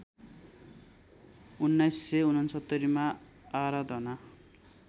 १९६९ मा आराधना